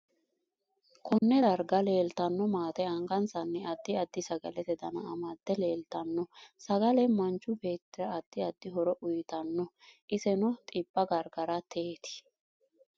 Konne darga leeltanno maate angasanni addi addi sagalete dana amade leeltanno sagale manchu beetira addi addi horo uyiitanno iseno xibba gargarateeti.